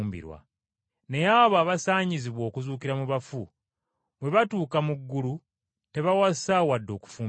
Naye abo abasaanyizibwa okuzuukira mu bafu bwe batuuka mu ggulu tebawasa wadde okufumbirwa,